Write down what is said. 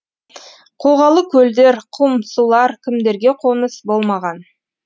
қоғалы көлдер құм сулар кімдерге қоныс болмаған